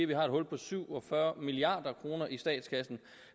vi har et hul på syv og fyrre milliard kroner i statskassen